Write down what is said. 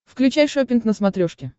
включай шоппинг на смотрешке